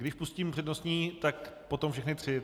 Když pustím přednostní, tak potom všechny tři.